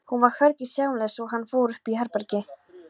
Hún var hvergi sjáanleg svo hann fór upp í herbergi.